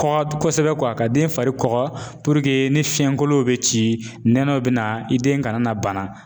Kɔkɔ kosɛbɛ ka den fari kɔkɔ ni fiɲɛkolon bɛ ci nɛnɛw bɛ na i den kana na bana